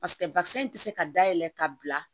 Paseke bakisɛ in ti se ka dayɛlɛ ka bila